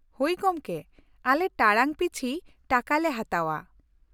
-ᱦᱳᱭ ᱜᱚᱢᱠᱮ ᱟᱞᱮ ᱴᱟᱲᱟᱝ ᱯᱤᱪᱷᱤ ᱴᱟᱠᱟ ᱞᱮ ᱦᱟᱛᱟᱣᱟ ᱾